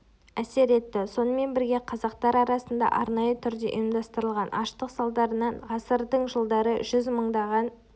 әсер етті сонымен бірге қазақтар арасында арнайы түрде ұйымдастырылған аштық салдарынан ғасырдың жылдары жүз мыңдаған